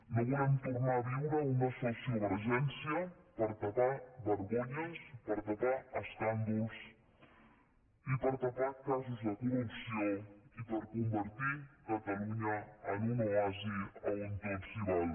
no volem tornar a viure una sociovergència per tapar vergonyes per tapar escàndols i per tapar casos de corrupció i per convertir catalunya en un oasi on tot s’hi val